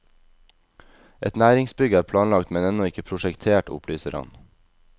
Et næringsbygg er planlagt men ennå ikke prosjektert, opplyser han.